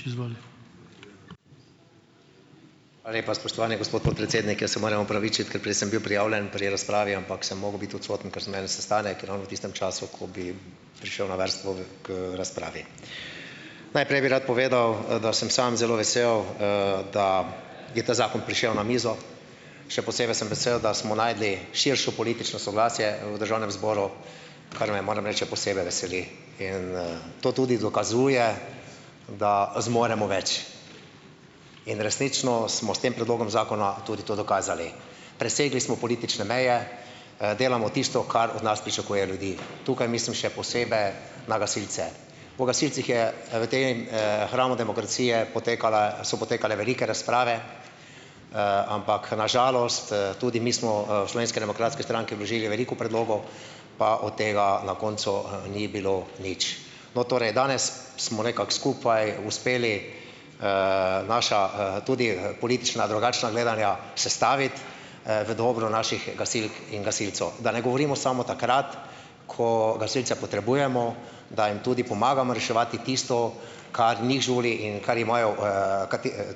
Hvala lepa, spoštovani gospod podpredsednik. Jaz sem moram opravičiti, ker prej sem bil prijavljen pri razpravi, ampak sem mogel biti odsoten, ker sem imel sestanek in ravno v tistem času, ko bi prišel na vrsto k, razpravi. Najprej bi rad povedal, da sem sam zelo vesel, da je ta zakon prišel na mizo. Še posebej sem vesel, da smo našli širšo politično soglasje v državnem zboru, kar me, moram reči, še posebej veseli. In, to tudi dokazuje, da zmoremo več. In resnično smo s tem predlogom zakona tudi to dokazali. Presegli smo politične meje, delamo tisto, kar od nas pričakujejo ljudje. Tukaj mislim še posebej na gasilce. O gasilcih je v tem, hramu demokracije potekale so potekale velike razprave, ampak na žalost, tudi mi smo, v Slovenski demokratski stranki vložili veliko predlogov, pa od tega na koncu ni bilo nič. No, torej, danes smo nekako skupaj uspeli, naša, tudi, politična drugačna gledanja sestaviti, v dobro naših gasilk in gasilcev. Da ne govorimo samo takrat, ko gasilci potrebujemo, da jim tudi pomagamo reševati tisto, kar njih žuli in kar imajo,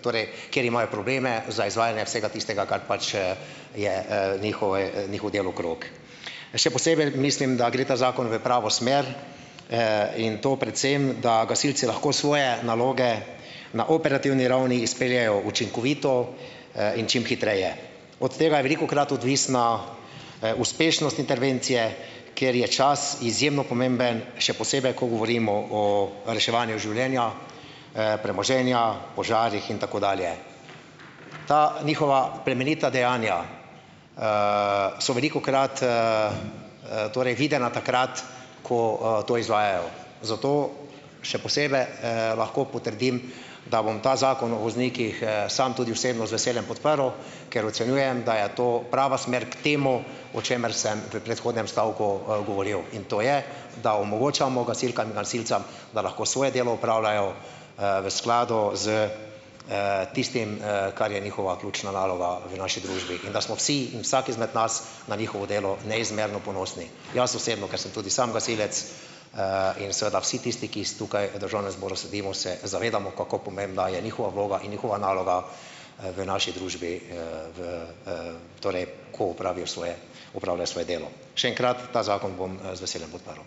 torej kjer imajo probleme za izvajanje vsega tistega, kar pač, je, njihov, njihov delokrog. Še posebej mislim, da gre ta zakon v pravo smer, in to predvsem, da gasilci lahko svoje naloge na operativni ravni izpeljejo učinkovito, in čim hitreje. Od tega je velikokrat odvisna, uspešnost intervencije, kjer je čas izjemno pomemben, še posebej ko govorimo o reševanju življenja, premoženja, požarih in tako dalje. Ta njihova plemenita dejanja, so velikokrat, torej videna takrat, ko, to izvajajo. Zato še posebej, lahko potrdim, da bom ta zakon o voznikih, sam tudi osebno z veseljem podprl, ker ocenjujem, da je to prava smer k temu, o čemer sem v predhodnem stavku govoril. In to je, da omogočamo gasilkam in gasilcem, da lahko svoje delo opravljajo, v skladu s, tistim, kar je njihova ključna naloga v naši družbi in da smo vsi, in vsak izmed nas, na njihovo delo neizmerno ponosni, jaz osebno, ker sem tudi sam gasilec, in seveda vsi tisti, ki tukaj v državnem zboru sedimo, se zavedamo, kako pomembna je njihova vloga in njihova naloga, v naši družbi, v, torej ko opravijo svoje opravljajo svoje delo. Še enkrat, ta zakon bom, z veseljem podprl.